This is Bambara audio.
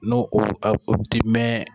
N'o ko a kɔ kodi tmɛn.